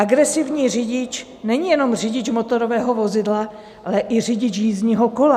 Agresivní řidič není jenom řidič motorového vozidla, ale i řidič jízdního kola.